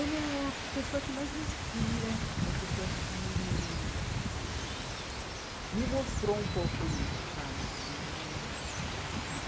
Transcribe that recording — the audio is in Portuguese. Ele é a pessoa que mais me inspira, é a pessoa que me mostrou um pouco isso, sabe? Que é